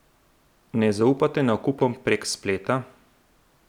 Ne zaupate nakupom prek spleta?